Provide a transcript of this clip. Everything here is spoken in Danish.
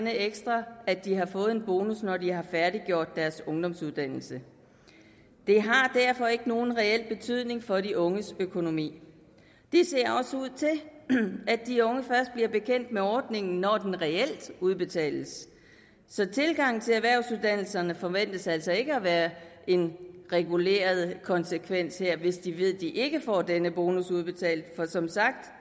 ekstra at de har fået en bonus når de har færdiggjort deres ungdomsuddannelse det har derfor ikke nogen reel betydning for de unges økonomi det ser også ud til at de unge først bliver bekendt med ordningen når den reelt udbetales så tilgangen til erhvervsuddannelserne forventes altså ikke at være en reguleret konsekvens hvis de ved at de ikke får denne bonus udbetalt for som sagt